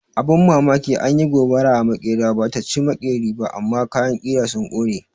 Abin mamaki, an yi gobara a maƙera, ba ta ci maƙeri ba amma kayan ƙira sun ƙone.